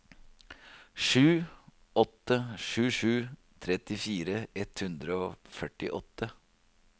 sju åtte sju sju trettifire ett hundre og førtiåtte